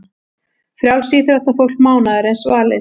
Frjálsíþróttafólk mánaðarins valið